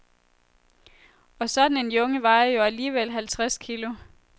Og sådan en junge vejer jo alligevel halvtreds kilo.